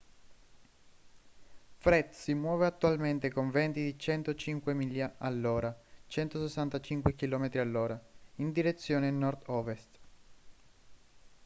fred si muove attualmente con venti di 105 miglia all’ora 165 km/h in direzione nord-ovest